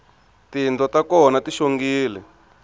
tindlo ta kona ti xongile